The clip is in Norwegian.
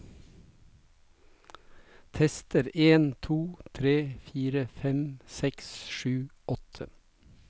Tester en to tre fire fem seks sju åtte